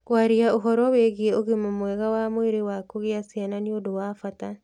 Kwaria ũhoro wĩgiĩ ũgima mwega wa mwĩrĩ wa kugĩa ciana nĩ ũndũ wa bata.